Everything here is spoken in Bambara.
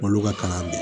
Olu ka kalan bi